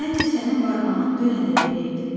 Məncə sənin barmağın dünən də belə idi.